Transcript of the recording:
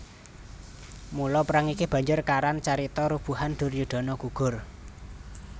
Mula perang iki banjur karan carita Rubuhan Duryudana Gugur